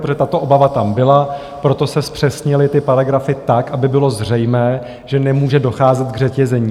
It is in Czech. Protože tato obava tam byla, proto se zpřesnily ty paragrafy tak, aby bylo zřejmé, že nemůže docházet k řetězení.